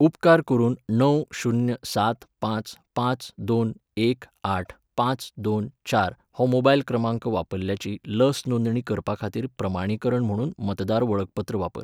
उपकार करून णव शुन्य सात पांच पांच दोन एक आठ पांच दोन चार हो मोबायल क्रमांक वापरतल्याची लस नोंदणी करपाखातीर प्रमाणीकरण म्हुणून मतदार वळखपत्र वापर.